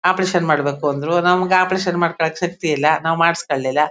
Operation ಮಾಡಬೇಕು ಅಂದ್ರು ನಮಗೆ ಆಪರೇಷನ್ ಮಾಡಿಸಿ ಕೊಳ್ಳಿಕ್ಕೆ ಶಕ್ತಿ ಇಲ್ಲ ನಾವು ಮಾಡಿಸಿ ಕೊಳ್ಲಿಲ್ಲ.